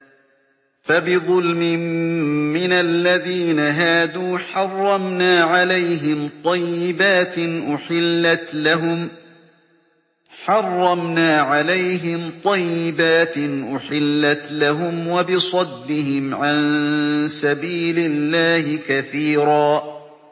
فَبِظُلْمٍ مِّنَ الَّذِينَ هَادُوا حَرَّمْنَا عَلَيْهِمْ طَيِّبَاتٍ أُحِلَّتْ لَهُمْ وَبِصَدِّهِمْ عَن سَبِيلِ اللَّهِ كَثِيرًا